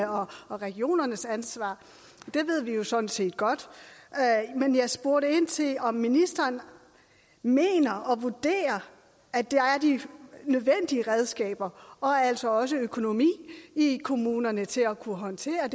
og regionernes ansvar det ved vi jo sådan set godt men jeg spurgte ind til om ministeren mener og vurderer at der er de nødvendige redskaber og altså også økonomi i kommunerne til at kunne håndtere